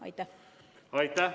Aitäh!